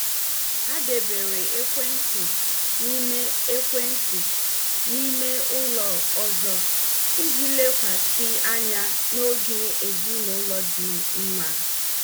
Ha debere ekwentị na ime ekwentị na ime ụlọ ọzọ iji lekwasị anya na oge ezinụlọ dị mma.